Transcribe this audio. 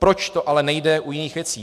Proč to ale nejde u jiných věcí?